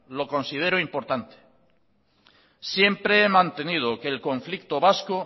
lo considero importante siempre he mantenido que el conflicto vasco